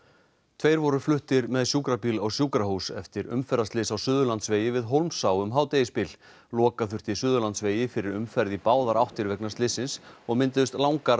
tveir voru fluttir með sjúkrabíl á sjúkrahús eftir umferðarslys á Suðurlandsvegi við Hólmsá um hádegisbil loka þurfti Suðurlandsvegi fyrir umferð í báðar áttir vegna slyssins og mynduðust langar